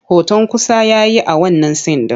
Hoton kusa ya yi a wannan sin ɗin.